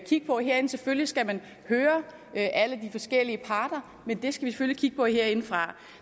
kigge på herinde selvfølgelig skal man høre alle de forskellige parter men det skal vi selvfølgelig kigge på herindefra